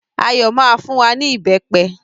Ayọ̀ máa fún wa ní ìbẹpẹ